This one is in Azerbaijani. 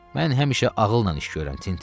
Mən həmişə ağılla iş görürəm, Tinti.